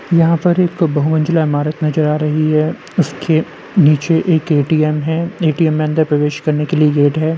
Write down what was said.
यहाँ पर एक बहुमंज़िला इमारत नज़र आ रही है। उसके नीचे एक ए.टी.एम. है | ए.टी.एम. में अंदर प्रवेश करने के लिए गेट है।